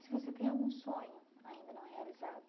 Se você tem algum sonho ainda não realizado?